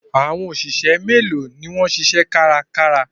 Àwọn òṣìṣẹ́ méèló ni wọ́n ń ṣiṣẹ́ kárakára?